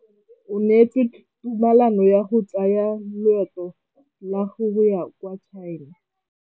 O neetswe tumalanô ya go tsaya loetô la go ya kwa China.